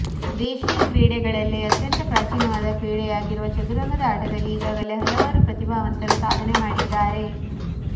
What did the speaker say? ದೇಶಿ ಕ್ರೀಡೆಗಳಲ್ಲಿಯೇ ಅತ್ಯಂತ ಪ್ರಾಚೀನವಾದ ಕ್ರೀಡೆಯಾಗಿರುವ ಚದುರಂಗದ ಆಟದಲ್ಲಿ ಈಗಾಗಲೇ ಹಲವರು ಪ್ರತಿಭಾವಂತರು ಸಾಧನೆ ಮಾಡಿದ್ದಾರೆ